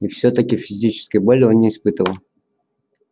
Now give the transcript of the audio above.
и всё-таки физической боли он не испытывал